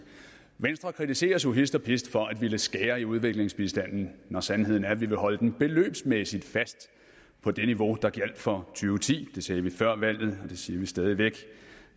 venstre kritiseres jo hist og pist for at ville skære i udviklingsbistanden mens sandheden er at vi vil holde den beløbsmæssigt fast på det niveau der gjaldt for to ti det sagde vi før valget og det siger vi stadig væk det